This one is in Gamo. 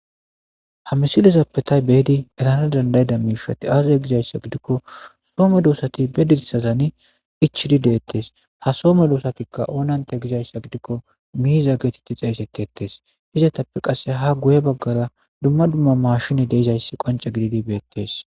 Ha misilizappetay beedi etana dandayida miishati aazey gizayssa gidikko soome doosati bee dirisazani ichidi deettes ha soome doosatikka oonante gizayssa gidikko miiza geetetti xeeyseti ettes izatappe qasse ha guye baggara dumma dumma mashini deezayssi qonce gididi beettes.